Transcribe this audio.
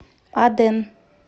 аден